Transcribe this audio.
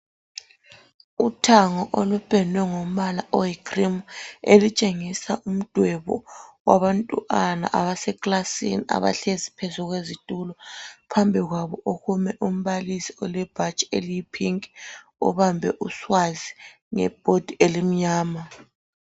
Uthango olupendwe ngombala oyi cream elitshengisa umdwebo wabantwana abase klasini abahlezi phezu kwezitulo. Phambi kwabo kume umbalisi olebhatshi eliyi pink ubambe uswazi nge bhodi elimnyama.